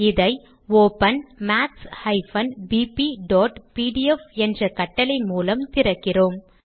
இதை open maths bpபிடிஎஃப் என்ற கட்டளை மூலம் திறக்கிறோம்